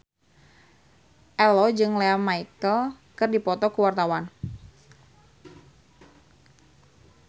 Ello jeung Lea Michele keur dipoto ku wartawan